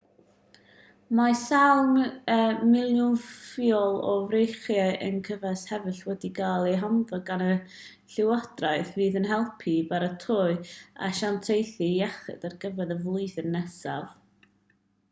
mae sawl miliwn ffiol o frechiad enceffalitis hefyd wedi cael eu haddo gan y llywodraeth fydd yn helpu i baratoi asiantaethau iechyd ar gyfer y flwyddyn nesaf